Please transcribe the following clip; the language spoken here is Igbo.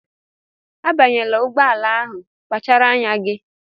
Abanyela ụgbọala ahụ! kpachara anya gị!